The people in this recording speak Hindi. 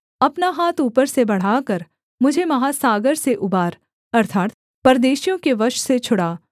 अपना हाथ ऊपर से बढ़ाकर मुझे महासागर से उबार अर्थात् परदेशियों के वश से छुड़ा